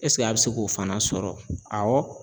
Ɛsike a be se k'o fana sɔrɔ awɔ